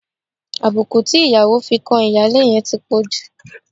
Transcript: Àbùkù tí ìyàwó fi kan ìyáálé yẹn ti pọ̀ jù.